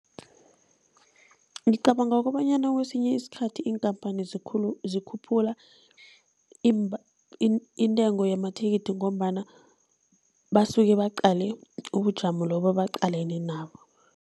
Ngicabanga kobanyana kwesinye isikhathi iinkhamphani zikhuphula intengo yamathikithi ngombana basuke baqale ubujamo lobo ebaqalene nabo.